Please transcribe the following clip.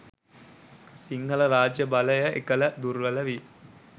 සිංහල රාජ්‍ය බලය එකල දුර්වල විය.